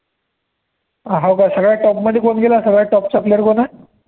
हाव का सगळ्या top मध्ये कोण गेलं, सगळ्यात top चा player कोण आहे